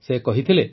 ସେ କହିଥିଲେ